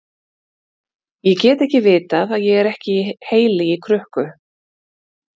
Ég get ekki vitað að ég er ekki heili í krukku.